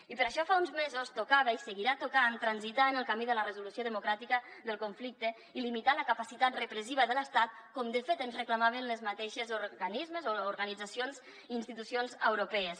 i per això fa uns mesos tocava i seguirà tocant transitar en el camí de la resolució democràtica del conflicte i limitar la capacitat repressiva de l’estat com de fet ens reclamaven els mateixos organismes o organitzacions i institucions euro pees